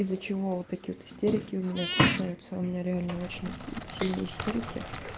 из-за чего у вот такие истерики у меня встречаются у меня реально очень сильные истерики